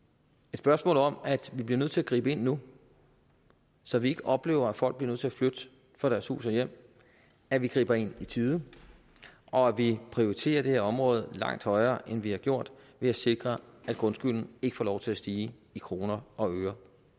spørgsmål om at vi bliver nødt til at gribe ind nu så vi ikke oplever at folk bliver nødt til at flytte fra deres hus og hjem at vi griber ind i tide og at vi prioriterer det her område langt højere end vi har gjort ved at sikre at grundskylden ikke får lov til at stige i kroner og øre